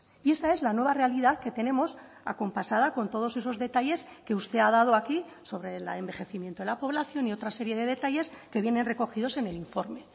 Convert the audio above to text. y esta es la nueva realidad que tenemos acompasada con todos esos detalles que usted ha dado aquí sobre el envejecimiento de la población y otra serie de detalles que vienen recogidos en el informe